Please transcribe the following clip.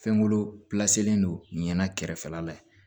Fɛnkolo don ɲinɛ kɛrɛfɛla la yen